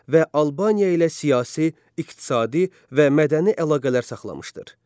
Və Albaniya ilə siyasi, iqtisadi və mədəni əlaqələr saxlamışdır.